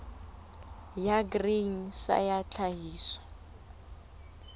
ya grain sa ya tlhahiso